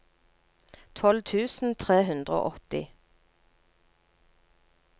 tolv tusen tre hundre og åtti